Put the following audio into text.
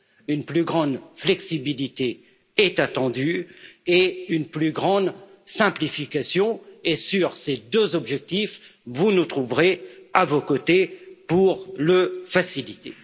Une plus grande flexibilité est attendue et une plus grande simplification, et, sur ces deux objectifs, vous nous trouverez à vos côtés pour les faciliter.